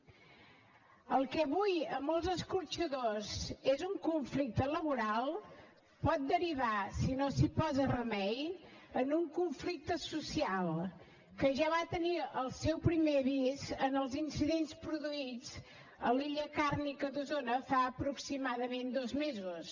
el que avui a molts escorxadors és un conflicte laboral pot derivar si no s’hi posa remei en un conflicte social que ja va tenir el seu primer avís en els incidents produïts a l’illa càrnia d’osona fa aproximadament dos mesos